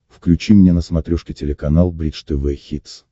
включи мне на смотрешке телеканал бридж тв хитс